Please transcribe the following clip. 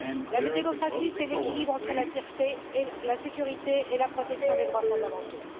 La démocratie, c'est l'équilibre entre la sûreté, la sécurité et la protection des droits fondamentaux.